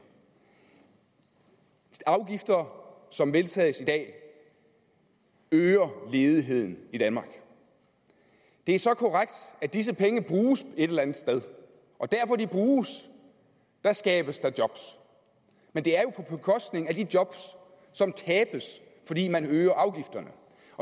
afgifter som vedtages i dag øger ledigheden i danmark det er så korrekt at disse penge bruges et eller andet sted og der hvor de bruges skabes der job men det er jo på bekostning af de job som tabes fordi man øger afgifterne